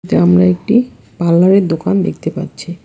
সামনে একটি পার্লার -এর দোকান দেখতে পাচ্ছি।